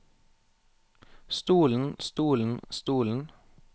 stolen stolen stolen